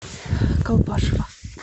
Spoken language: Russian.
колпашево